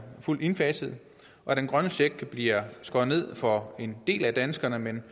fuldt indfaset og den grønne check bliver skåret ned for en del af danskerne men